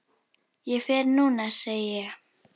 Ég fer núna, segi ég.